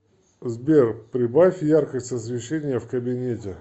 сбер прибавь яркость освещения в кабинете